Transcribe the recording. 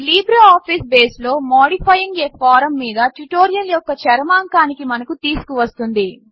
ఇది LibreOffice base లో modifying a form మీద ట్యుటోరియల్ యొక్క చరమాంకానికి మనను తీసుకు వస్తుంది